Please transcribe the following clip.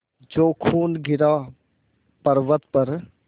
जो खून गिरा पवर्अत पर